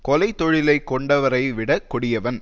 கொலை தொழிலைக் கொண்டவரை விடக் கொடியவன்